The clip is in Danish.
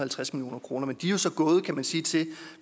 halvtreds million kroner men de er jo så kan man sige